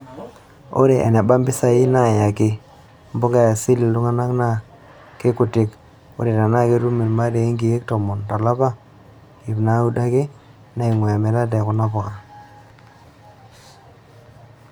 Ore eneba mpisai naayaki mpuka e asili iltung'ana naa keikuti:ore tenaa ketum olmarei nkeek tomon tolapa, iip naaudo ake naing'uaa emirata e kuna puka.